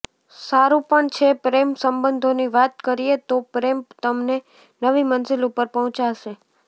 સારું પણ છે પ્રેમ સંબંધોની વાત કરીએ તો પ્રેમ તમને નવી મંઝિલ ઉપર પહોંચાડ્શે